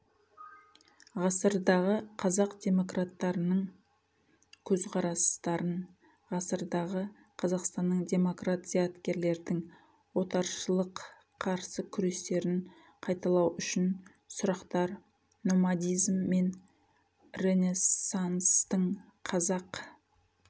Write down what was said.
ғасырдағы қазақ-демократтарының көзқарастарын ғасырдағы қазақстанның демократ зияткерлердің отаршылық қарсы күрестерін қайталау үшін сұрақтар номадизм мен ренессанстың қазақ